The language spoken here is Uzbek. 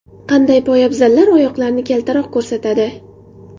Qanday poyabzallar oyoqlarni kaltaroq ko‘rsatadi?